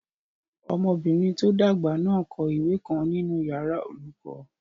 Ọmọbìnrin tó dàgbà náà n kọ ìwé kan nínu yàrá olùkọ́